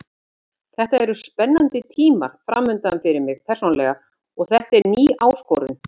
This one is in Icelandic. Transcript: Þetta eru spennandi tímar framundan fyrir mig persónulega og þetta er ný áskorun.